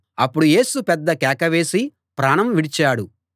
అప్పుడు యేసు పెద్ద కేక వేసి ప్రాణం విడిచాడు